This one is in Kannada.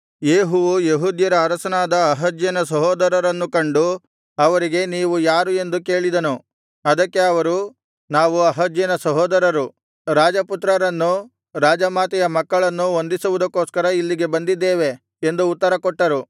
ಯೇಹುವು ಯೆಹೂದ್ಯರ ಅರಸನಾದ ಅಹಜ್ಯನ ಸಹೋದರರನ್ನು ಕಂಡು ಅವರಿಗೆ ನೀವು ಯಾರು ಎಂದು ಕೇಳಿದನು ಅದಕ್ಕೆ ಅವರು ನಾವು ಅಹಜ್ಯನ ಸಹೋದರರು ರಾಜಪುತ್ರರನ್ನೂ ರಾಜಮಾತೆಯ ಮಕ್ಕಳನ್ನೂ ವಂದಿಸುವುದಕ್ಕೋಸ್ಕರ ಇಲ್ಲಿಗೆ ಬಂದಿದ್ದೇವೆ ಎಂದು ಉತ್ತರ ಕೊಟ್ಟರು